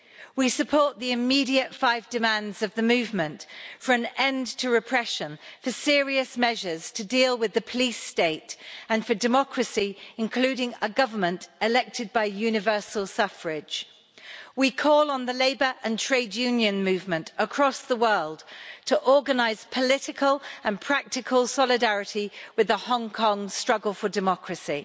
We support the immediate five demands of the movement for an end to repression, for serious measures to deal with the police state and for democracy, including a government elected by universal suffrage. We call on the labour and trade union movement across the world to organise political and practical solidarity with the Hong Kong struggle for democracy.